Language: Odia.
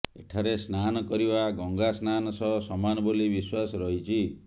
ଏଠାରେ ସ୍ନାନ କରିବା ଗଙ୍ଗା ସ୍ନାନ ସହ ସମାନ ବୋଲି ବିଶ୍ୱାସ ରହିଛି